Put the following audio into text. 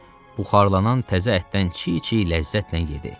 Buxarlanan təzə ətdən çi-çi ləzzətlə yedi.